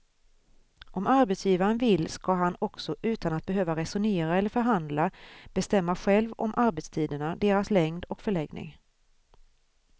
Om arbetsgivaren vill ska han också utan att behöva resonera eller förhandla bestämma själv om arbetstiderna, deras längd och förläggning.